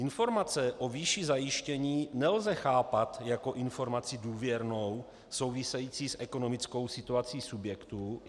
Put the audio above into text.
Informace o výši zajištění nelze chápat jako informaci důvěrnou, související s ekonomickou situací subjektu.